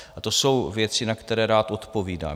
A to jsou věci, na které rád odpovídám.